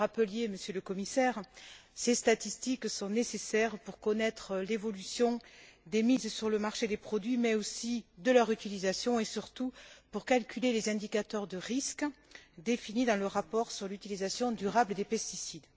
Vous le rappeliez, Monsieur le Commissaire, ces statistiques sont nécessaires pour connaître l'évolution des mises sur le marché des produits, mais aussi de leur utilisation, et surtout pour calculer les indicateurs de risques définis dans le rapport sur l'utilisation durable des pesticides.